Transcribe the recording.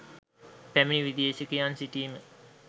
පැමිණි විදේශිකයන් සිටීම